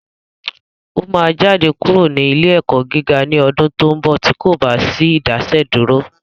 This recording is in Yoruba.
Ó máa jáde kúrò ní ilé ẹ̀kọ́ gíga ní ọdún tó ń bọ̀ tí kò bá sí Ìdásẹ́dúró